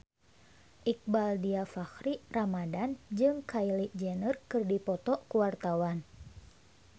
Iqbaal Dhiafakhri Ramadhan jeung Kylie Jenner keur dipoto ku wartawan